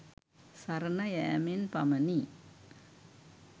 සරණ යැමෙන් පමණි.